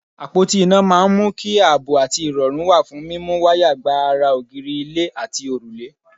Àpóti iná máa ń mú kí àbọ̀ àti ìrọ̀rù wà fún múmú wáyà gba ara ògiri, ilẹ̀, àti òrùlé.